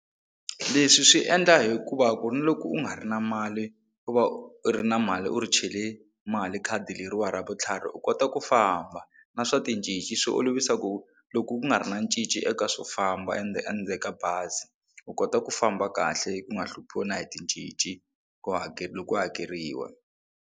Leswi swi endla hikuva ku ri na loko u nga ri na mali ku va u ri na mali u ri chele mali khadi leriwani ra vutlhari u kota ku famba na swa ticinci swo yi olovisa ku loku ku nga ri na cinci eka swo famba endzeni ka bazi u kota ku famba kahle u nga hluphiwi na hi ticinci ku loko ku hakeriwa.